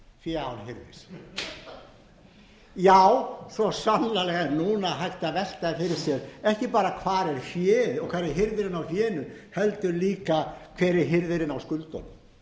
fé án hirðis já svo sannarlega er núna hægt að velta fyrir sér ekki bara hvar er féð og hvar er hirðirinn á fénu heldur líka hver er hirðirinn á skuldunum